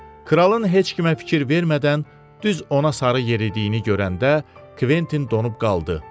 Kralın heç kimə fikir vermədən düz ona sarı yeridiyini görəndə Kventin donub qaldı.